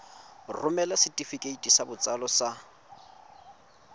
romela setefikeiti sa botsalo sa